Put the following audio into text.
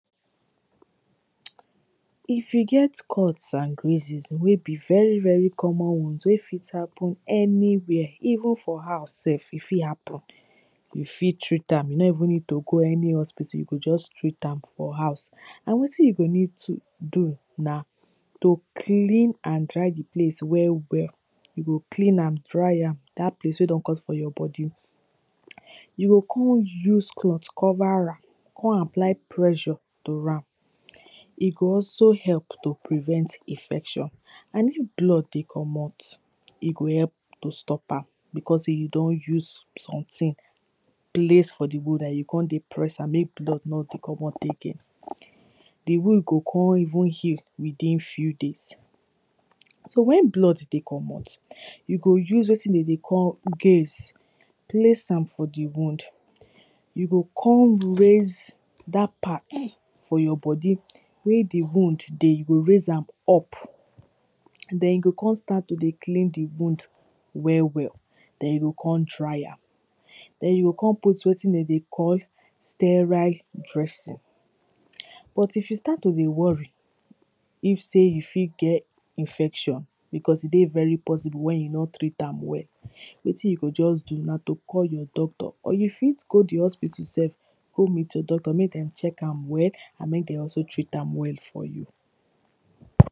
If you get cut and greases very very common one wey fit happen anywhere, even for house self e fit happen you fit treat am, you no even need to go any hospital, you go just treat am for house and wetin you go need to do na to clean and dry di place well well you go clean am dry am dat place wey don cut for your body you go come use cloth cover am, come apply pressure to am E go also help to prevent infection and if blood dey comot e go help to stop becos sey you don use something place for di wound and you come dey press am make blood no dey comot again Di wound go come even heal within few days. So wen blood dey comot you go use wetin dem dey call guage place am for di wound You go come raise dat part for your body wey di wound dey, you go raise am up then you go come start to dey clean di wound well well, then you go come dry am then you go come put wetin dem dey call sterile dressing But you if you start to dey worry, if sey you fit get infection becos e dey very possible wen you no treat am well, wetin you go just do na to call your doctor or you fit go di hospital self go meet your doctor make dem check am well and make dem also treat am well for you